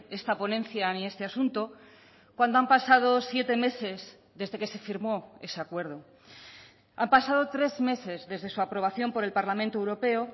esta ponencia ni este asunto cuando han pasado siete meses desde que se firmó ese acuerdo han pasado tres meses desde su aprobación por el parlamento europeo